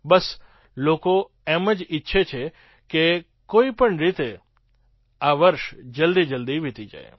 બસ લોકો એમ જ ઈચ્છે છે કે કોઈ પણ રીતે આ વર્ષ જલદીજલદી વિતી જાય